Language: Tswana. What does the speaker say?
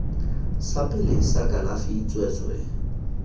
sa pele sa kalafi tsweetswee